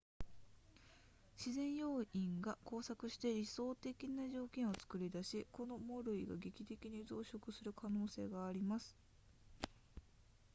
自然要因が交錯して理想的な条件を作り出しこの藻類が劇的に増殖する可能性があります